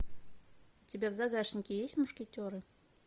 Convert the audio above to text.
у тебя в загашнике есть мушкетеры